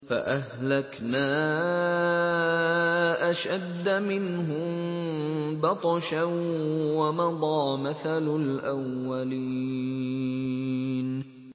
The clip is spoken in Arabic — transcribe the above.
فَأَهْلَكْنَا أَشَدَّ مِنْهُم بَطْشًا وَمَضَىٰ مَثَلُ الْأَوَّلِينَ